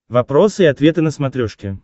вопросы и ответы на смотрешке